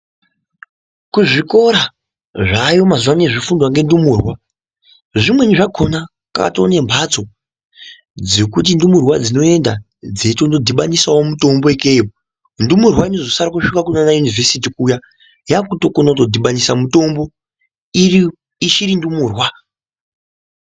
Kuzvikora zvaayo mazuvano izvi zvofundwa ngendumurwa zvimweni zvakona katoo nembatso dzekuti ndumurwa dzinoenda dzeitonodhibanisawo mutombo ikeyo. Ndumurwa inozosara kusvika kunaana yunivhesiti kuya yaakutokona kutodhibanisa mutombo, iyo ichiri ndumurwa.